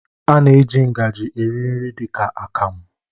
A na-eji ngajị eri nri dị ka akamụ.